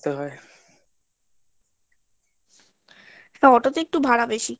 auto ওটাতো একটু ভাড়া বেশি